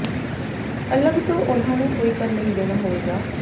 ਅਲੱਗ ਤੋਂ ਉਨ੍ਹਾਂ ਨੂੰ ਕੋਈ ਕਰ ਨਹੀਂ ਦੇਣਾ ਹੋਏਗਾ